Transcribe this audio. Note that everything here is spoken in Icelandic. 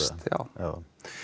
já